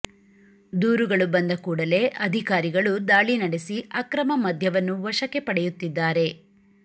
ದೂರುಗಳು ಬಂದ ಕೂಡಲೇ ಅಧಿಕಾರಿಗಳು ದಾಳಿ ನಡೆಸಿ ಅಕ್ರಮ ಮದ್ಯವನ್ನು ವಶಕ್ಕೆ ಪಡೆಯುತ್ತಿದ್ದಾರೆ